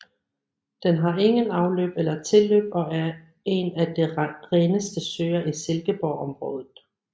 Den har ingen afløb eller tilløb og er en af de reneste søer i Silkeborgområdet